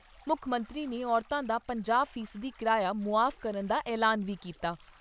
ਮੁੱਖ ਮੰਤਰੀ ਨੇ ਔਰਤਾਂ ਦਾ ਪੰਜਾਹ ਫ਼ੀਸਦੀ ਕਿਰਾਇਆ ਮੁਆਫ਼ ਕਰਨ ਦਾ ਐਲਾਨ ਵੀ ਕੀਤਾ।